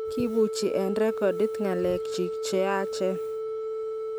kibuchi Eng' rekodit ng'alek chich che yaachen